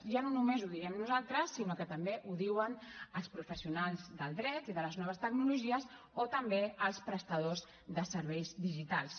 ja no només ho diem nosaltres sinó que també ho diuen els professionals del dret i de les noves tecnologies o també els prestadors de serveis digitals